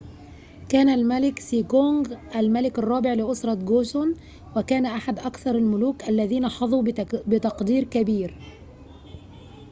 كان الملك سيجونغ الملك الرابع لأسرة جوسون وكان أحد أكثر الملوك الذين حظوا بتقدير كبير